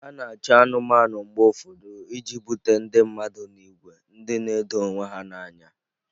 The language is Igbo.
A na-achụ anụmanụ mgbe ụfọdụ iji bute ndị mmadụ n'ìgwè ndị na-edo onwe ha n'anya.